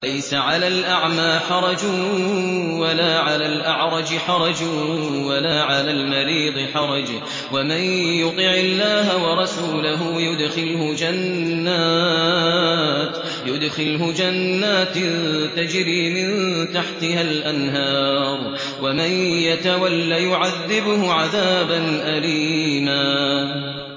لَّيْسَ عَلَى الْأَعْمَىٰ حَرَجٌ وَلَا عَلَى الْأَعْرَجِ حَرَجٌ وَلَا عَلَى الْمَرِيضِ حَرَجٌ ۗ وَمَن يُطِعِ اللَّهَ وَرَسُولَهُ يُدْخِلْهُ جَنَّاتٍ تَجْرِي مِن تَحْتِهَا الْأَنْهَارُ ۖ وَمَن يَتَوَلَّ يُعَذِّبْهُ عَذَابًا أَلِيمًا